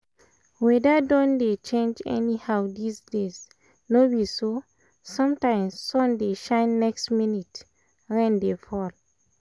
weather don dey change anyhow these days no be so? sometimes sun dey shine next minute rain dey fall